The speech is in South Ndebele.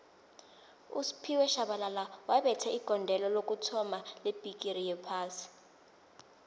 usphiwe shabalala wabetha igondelo lokuthoma lebhigixi yophasi